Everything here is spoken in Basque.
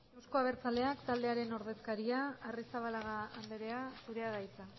euzko abertzaleak taldearen ordezkaria arrizabalaga andrea zurea da hitza